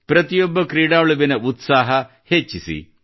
ಪ್ರತಿಯೊಬ್ಬ ಕ್ರೀಡಾಳುವಿನ ಉತ್ಸಾಹ ಹೆಚ್ಚಿಸಿ